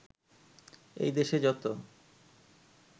এই দেশে যতো